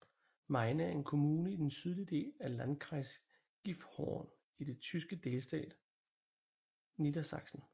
Meine er en kommune i den sydlige del af Landkreis Gifhorn i den tyske delstat Niedersachsen